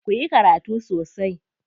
Ku yi karatu sosai.